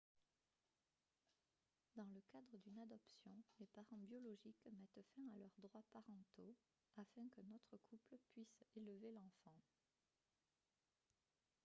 dans le cadre d'une adoption les parents biologiques mettent fin à leurs droits parentaux afin qu'un autre couple puisse élever l'enfant